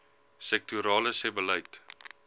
sektorale sebbeleid